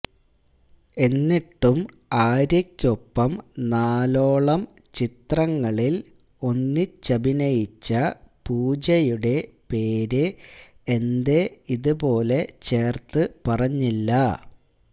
എന്നിട്ടും ആര്യയ്ക്കൊപ്പം നാലോളം ചിത്രങ്ങളില് ഒന്നിച്ചഭിനയിച്ച പൂജയുടെ പേര് എന്തേ ഇതുപോലെ ചേര്ത്ത് പറഞ്ഞില്ല